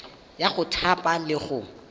ya go thapa le go